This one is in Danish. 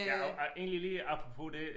Ja og ej egentlig lige apropos det